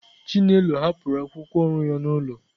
Chinelo hapụrụ akwụkwọ ọrụ ya n'ụlọ.